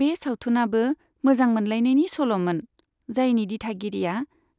बे सावथुनाबो मोजां मोनलायनायनि सल'मोन, जायनि दिथागिरिआ